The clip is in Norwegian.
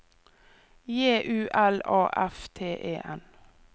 J U L A F T E N